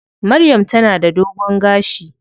Maryam ta na da dogon gashi.